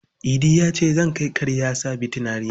Idi ya ce, "Zan kai karyarsa Bitinariya".